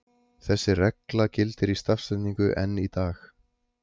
Þessi regla gildir í stafsetningu enn í dag.